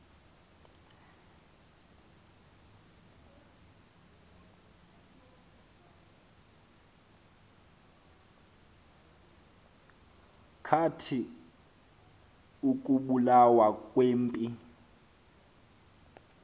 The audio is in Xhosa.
kwathi ukubulawa kwempi